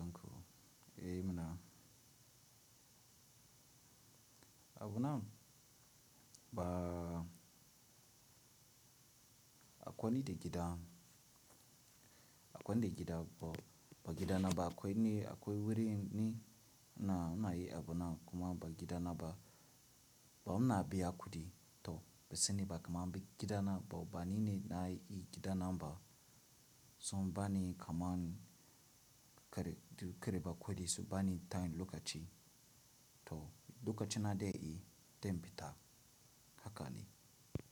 Eh mana. Abu nan ba akwai ni da gida, akwai ni da gida ba, ba gidana ba akwai ni akwai wurin ni na, ina yi abu nan kuma ba gidana ba. Ba mu na biya kudi to ba sani ba kamar bi gidana, ba ba nine na yi gida nan ba. So bani kamar kare, kare ba kudi, su bani time lokaci to lokaci na daya yi, dan fita haka ne.